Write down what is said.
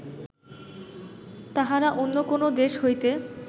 তাহারা অন্য কোনো দেশ হইতে